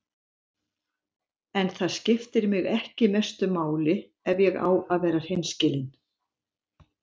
En það skiptir mig ekki mestu máli ef ég á að vera hreinskilinn.